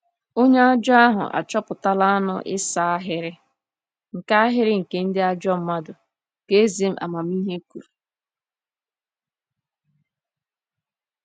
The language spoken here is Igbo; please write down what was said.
“Onye ajọ ahụ achọpụtala anụ ịsa ahịrị nke ahịrị nke ndị ajọ mmadụ,” ka eze amamihe kwuru.